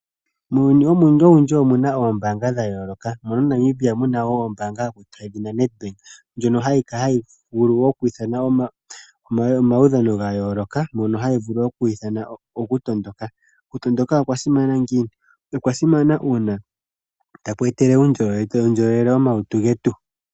Muuyuni owundji omu na oombaanga dha yooloka. MoNamibia omu na wo ombaanga yedhina Nedbank ndjono hayi vulu oku ithana wo omaudhano ga yooloka, moka hayi vulu oku ithana okutondoka. Okutondoka okwa simana ngiini? Okwa simana uuna taku etele omalutu getu uundjolowele.